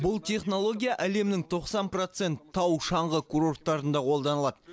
бұл технология әлемнің тоқсан процент тау шаңғы курорттарында қолданылады